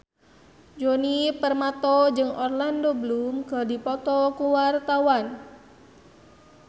Djoni Permato jeung Orlando Bloom keur dipoto ku wartawan